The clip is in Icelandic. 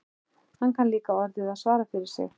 Hann kann líka orðið að svara fyrir sig.